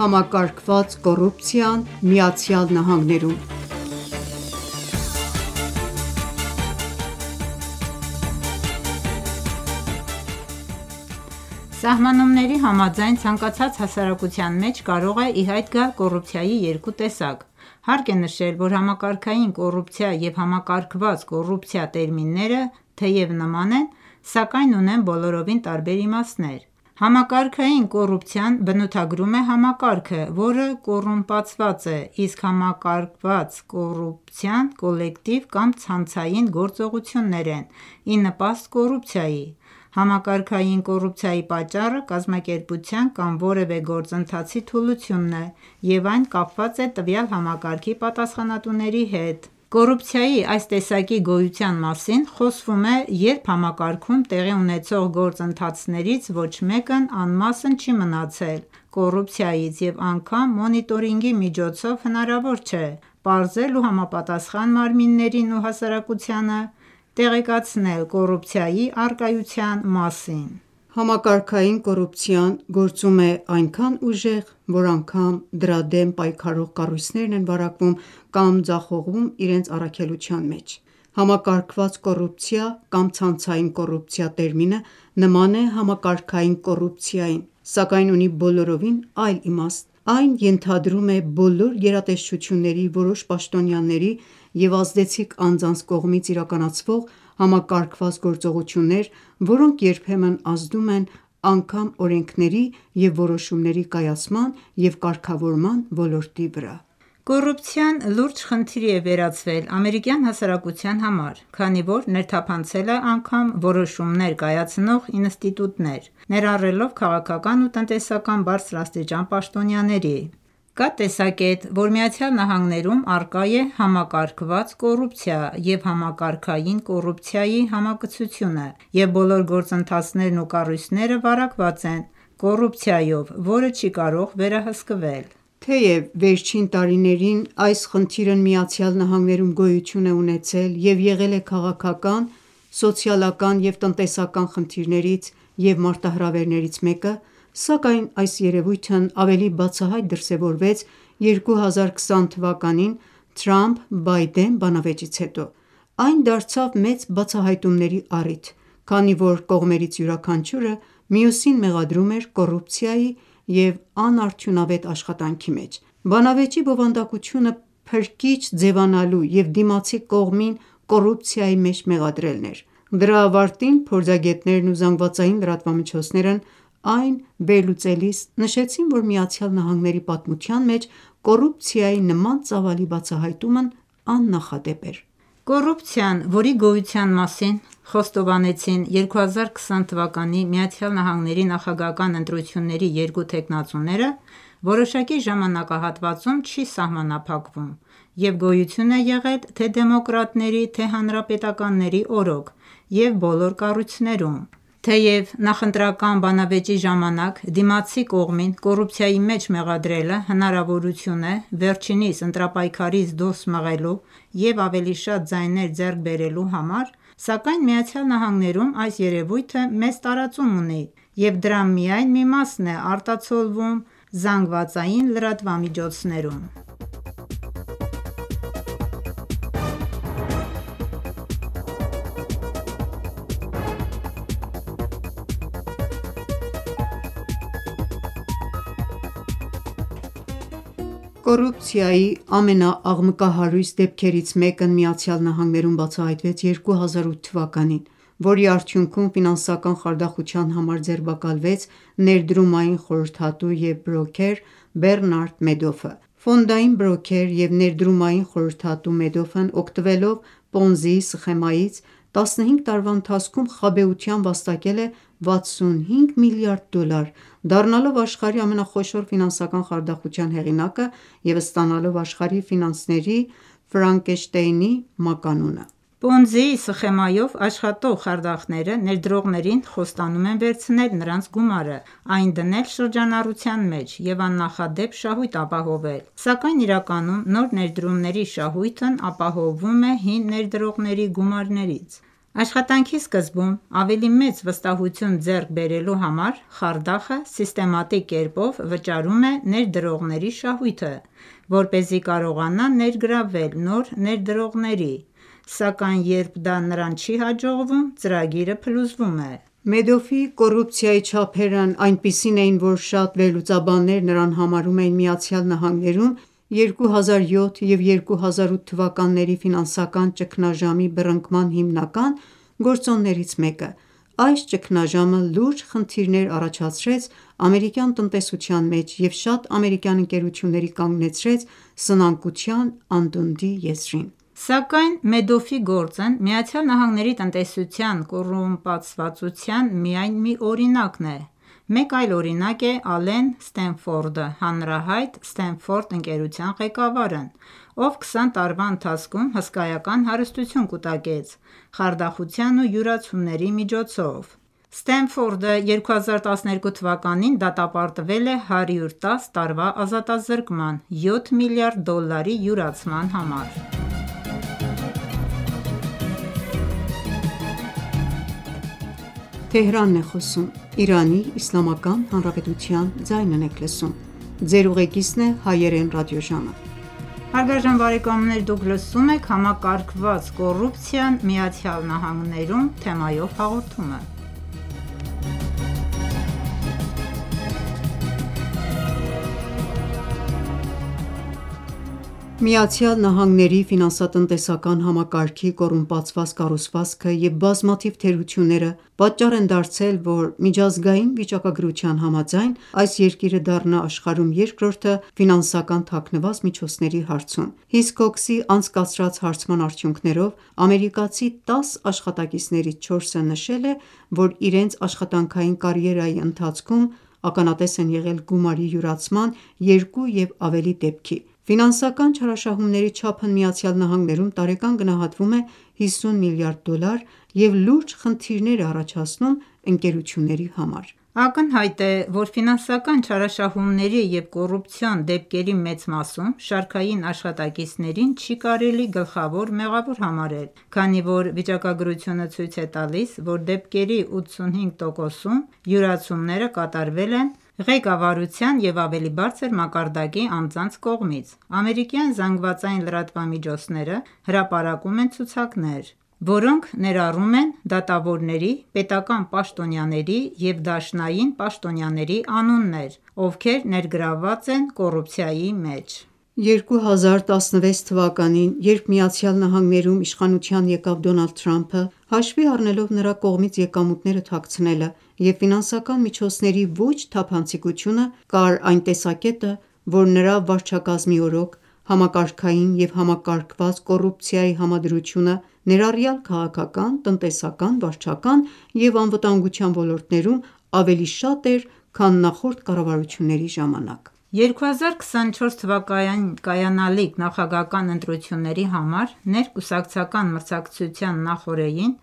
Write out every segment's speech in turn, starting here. Համակարգված կոռուպցիան ԱՄՆ-ում Սահմանումների համաձայն՝ ցանկացած հասարակության մեջ կարող է ի հայտ գալ կոռուպցիայի երկու տեսակ: Հարկ է նշել, որ «համակարգային կոռուպցիա» և «համակարգված կոռուպցիա» տերմինները թեև նման են, սակայն ունեն բոլորովին տարբեր իմաստներ: Համակարգային կոռուպցիան բնութագրում է համակարգը, որը կոռումպացված է: Իսկ համակարված կոռուպցիան կոլեկտիվ կամ ցանցային գործողություններ են՝ ի նպաստ կոռուպցիայի: Համակարգային կոռուպցիայի պատճառը կազմակերպության կամ որևէ գործընթացի թուլությունն է և այն կապված է տվյալ համակարգի պատասխանատոների հետ: Կոռուպցիայի այս տեսակի գոյության մասին խոսվում է, երբ համակարգում տեղի ունեցող գործընթացներից ոչ մեկն անմասն չի մնացել կոռուպցիայից և անգամ մոնիտորինգի միջոցով հնարավոր չէ պարզել ու համապատասխան մարմիններին ու հասարակությանը տեղեկացնել կոռուպցիայի առկայության մասին: Համակարգային կոռուպցիան գործում է այնքան ուժեղ, որ անգամ դրա դեմ պայքարող կառույցներն են վարակվում կամ ձախողվում իրենց առաքելության մեջ: «Համակարգված կոռուպցիա» կամ «ցանցային կոռուպցիա» տերմինը նման է «համակարգային կոռուպցիային», սակայն ունի բոլորովին այլ իմաստ: Այն ենթադրում է բոլոր գերատեսչությունների որոշ պաշտոնյաների և ազդեցիկ անձանց կողմից իրականացվող համակարգված գործողություններ, որոնք երբեմն ազդում են անգամ օրենքների և որոշումների կայացման և կարգավորման ոլորտի վրա: Կոռուպցիան լուրջ խնդրի է վերածվել ամերիկյան հասարակության համար, քանի որ ներթափանցել է անգամ որոշումներ կայացնող ինստիտուտներ, ներառելով քաղաքական ու տնտեսական բարձրաստիճան պաշտոնյաների: Կա տեսակետ, որ ԱՄՆ-ում առկա է «համակարգված կոռուպցիայի» և «համակարգային կոռուպցիայի» համակցությունը, և բոլոր գործընթացներն ու կառույցները վարակված են կոռուպցիայով, որը չի կարող վերահսկվել: Թեև վերջին տարիներին այս խնդիրն ԱՄՆ-ում գոյություն է ունեցել և եղել է քաղաքական, սոցիալական և տնտեսական խնդիրներից և մարտահրավերներից մեկը, սակայն այս երևույթն ավելի բացահայտ դրսևորվեց 2020թ. Թրամփ-Բայդեն բանավեճից հետո: Այն դարձավ մեծ բացահայտումների առիթ, քանի որ կողմերից յուրաքանչյուրը մյուսին մեղադրում էր կոռուպցիայի ու անարդյունավետ աշխատանքի մեջ: Բանավեճի բովանդակությունը փրկիչ ձևանալու և դիմացի կողմին կոռուպցիայի մեջ մեղադրելն էր: Դրա ավարտին, փորձագետներն ու ԶԼՄ-ներն այն վերլուծելիս նշեցին, որ ԱՄՆ-ի պատմության մեջ կոռուպցիայի նման ծավալի բացահայտումն աննախադեպ էր: Կոռուպցիան, որի գոյության մասին խոստովանեցին 2020թ ԱՄՆ նախագահական ընտրությունների երկու թեկնածուները, որոշակի ժամանակահատվածով չի սհամանափակվում և գոյություն է եղել թե դեմոկրատների թե հանրապետականների օրոք և բվոլոր կառույցներում: Թեև նախընտրական բանավեճի ժամանակ դիմացի կողմին կոռուպցիայի մեջ մեղադրելը հնարավորություն է՝ վերջինիս ընտարպայքարից դուրս մղելու և ավելի շատ ձայներ ձեռք բերելու համար, սակայն ԱՄՆ-ում այս երևույթը մեծ տարածում ունի և դրա միայն մի մասն է արտացոլվում է ԶԼՄ-ներում: Կոռուպցիայի ամենաաղմկահարույց դեպքերից մեկն ԱՄՆ-ում բացահայտվեց 2008 թ., որի արդյունքում ֆինանսական խարդախության համար ձերբակալվեց ներդրումային խորհրդատու և բրոքերր Բեռնարդ Մեդոֆը: ֆոնդային բրոքեր և ներդրումային խորհրդատու Մեդոֆն օգտվելով Պոնզիի սխեմայից՝ 15 տարվա ընթացքում խաբեությամբ վաստակել է 65 միլիարդ դոլար, դառնալով աշխարհի ամենախոշոր ֆինանսական խարդախության հեղինակը և ստանալով «աշխարհի ֆինանսների Ֆրանկենշտեյնի» մականունը: Պոնզիի սխեմայով աշխատող խարդախները ներդրողներին խոստանում են վերցնել նրանց գումարը, այն դնել շրջանառության մեջ և աննախադեպ շահույթ ապահովել: Սակայն իրականում նոր ներդրողների շահույթն ապահովվում է հին ներդրողների գումարներից: Աշխատանքի սկզբում, ավելի մեծ վստահություն ձեռք բերելու համար, խարդախը սիստեմատիկ կերպով վճարում է ներդրողների շահույթը, որպեսզի կարողանա ներգրավել նոր ներդրողների, սակայն երբ դա նրան չի հաջողվում, ծրագիրը փլուզվում է: Մեդոֆի կոռուպցիայի չափերն այնպիսին էին, որ շատ վերլուծաբաններ նրան համարում են ԱՄՆ-ում 2007 և 2008 թվականների ֆինանսական ճգնաժամի բռնկման հիմնական գործոններից մեկը: Այս ճգնաժամը լուրջ խնդիրներ առաջացրեց ամերիկյան տնտեսության մեջ և շատ ամերիկյան ընկերությունների կանգնեցրեց սնանկության անդունդի եզրին: Սակայն Մեդոֆի գործն ԱՄՆ տնտեսության կոռումպացվածության միայն մի օրինակն է: Մեկ այլ օրինակ է Ալեն Սթենֆորդը՝ հանրահայտ Սթենֆորդ ընկերության ղեկավարն, ով 20 տարվա ընթացքում հսկայական հարստություն կուտակեց խարդախախության ու յուրացումների միջոցով։ Սթենֆորդը 2012 թվականին դատապարտվել է 110 տարվա ազատազրկման՝ յոթ միլիարդ դոլարի յուրացման համար։ ԱՄՆ-ի ֆինանսատնտեսական համակարգի կոռումպացված կառուցվածքը և բազմաթիվ թերությունները պատճառ են դարձել, որ միջազգային վիճակագրության համաձայն, այս երկիրը դառնա աշխարհում երկրորդը՝ ֆինանսական թաքնված միջոցների հարցում։ HISCOX-ի անցկացրած հարցման արդյունքներով՝ ամերիկացի 10 աշխատակիցներից 4-ը նշել է, որ իրենց աշխատանքային կարիերայի ընթացքում ականատես են եղել գումարի յուրացման 2 և ավելի դեպքի։ Ֆինանսկաան չարաշահումների չափն ԱՄՆ-ում տարեկան գնահատվում է 50 միլիարդ դոլար և լուրջ խնդիրներ է առաջացնում ընկերությունների համար: Ակնհայտ է, որ ֆինանսական չարաշահումների և կոռուպցիոն դեպքերի մեծ մասում շարքային աշխատակիցներին չի կարելի գլխավոր մեղավոր համարել, քանի որ վիճակագրությունը ցույց է տալիս, որ դեպքերի 85%-ում յուրացումները կատարվել են ղեկավարության և ավելի բարձր մակարդակի անձանց կողմից։ Ամերիկյան ԶԼՄ-ները հրապարակում են ցուցակներ, որոնք ներառում են դատավորների, պետական պաշտոնյաների և դաշնային պաշտոնյաների անուններ, ովքեր ներգրավված են կոռուպցիայի մեջ: 2016 թվականին, երբ ԱՄՆ-ում իշխանության եկավ Դոնալդ Թրամփը, հաշվի առնելով նրա կողմից եկամուտները թաքցնելը և ֆինանսական միջոցների ոչ թափանցիկությունը, կար այն տեսակետը, որ նրա վարչակազմի օրոք համակարգային և համակարգված կոռուպցիայի համադրությունը, ներառյալ քաղաքական, տնտեսական, վարչական և անվտանգության ոլորտներում, ավելի շատ էր, քան նախորդ կառավարությունների ժամանակ: 2024 թվականին կայանալիք նախագահական ընտրությունների համար ներկուսակցական մրցակցության նախօրեին,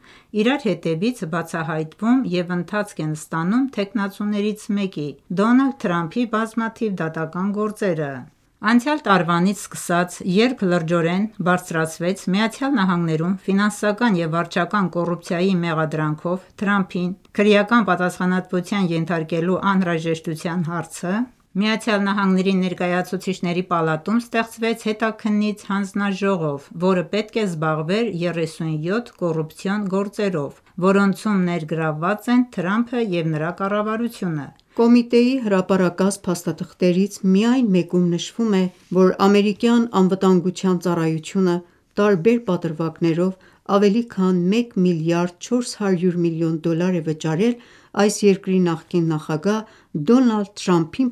իրար հետևից բացահայտվում և ընթացք են ստանում թեկնածուներից մեկի՝ Դոնալդ Թրամփի բազմաթիվ դատական գործերը: Անցյալ տարվանից սկսած, երբ լրջորեն բարձրացվեց ԱՄՆ-ում ֆինանսական և վարչական կոռուպցիայի մեղադրանքով Թրամփին քրեական պատասխանատվության ենթարկելու անհրաժեշտության հարցը, Միացյալ Նահանգների Ներկայացուցիչների պալատում ստեղծվեց հետաքննիչ հանձնաժողով, որը պետք է զբաղվեր 37 կոռուպցիոն գործերով, որոնցում ներգրավված են Թրամփը և նրա կառավարությունը: Կոմիտեի հրապարակած փաստաթղթերից միայն մեկում նշվում է, որ ամերիկյան անվտանգության ծառայությունը տարբեր պատրվակներով ավելի քան 1,4 մլն դոլար է վճարել այս երկրի նախկին նախագահ Դոնալդ Թրամփին